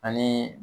Ani